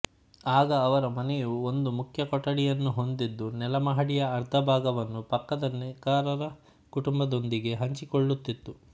ಆಗ ಅವರ ಮನೆಯು ಒಂದು ಮುಖ್ಯ ಕೊಠಡಿಯನ್ನು ಹೊಂದಿದ್ದು ನೆಲಮಹಡಿಯ ಅರ್ಧ ಭಾಗವನ್ನು ಪಕ್ಕದ ನೇಕಾರರ ಕುಟುಂಬದೊಂದಿಗೆ ಹಂಚಿಕೊಳ್ಳುತ್ತಿತ್ತು